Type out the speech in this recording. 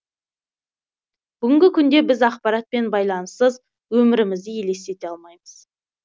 бүгінгі күнде біз ақпарат пен байланыссыз өмірі мізді елестете алмаймыз